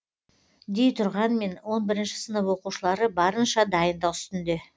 дей тұрғанмен он бірінші сынып оқушылары барынша дайындық үстінде